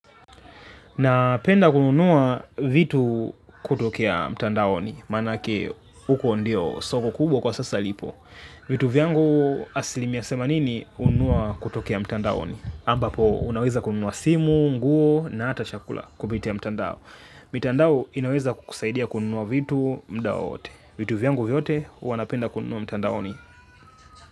Napenda kununuwa vitu kutokea mtandaonni, manake huko ndio soko kubwa kwa sasa lipo. Vitu vyangu asilimia themanini hununua kutokea mtandaoni. Ambapo, unaweza kununuwa simu, nguo na ata chakula kupitia mtandao. Mitandao inaweza kusaidia kununuwa vitu muda wowote. Vitu vyangu vyote wanapenda kununuwa mtandaoni.